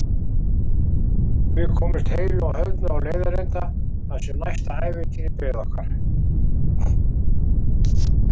Við komumst heilu og höldnu á leiðarenda þar sem næsta ævintýri beið okkar.